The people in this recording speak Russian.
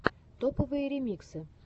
топовые ремиксы